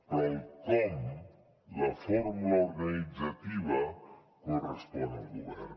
però el com la fórmula organitzativa correspon al govern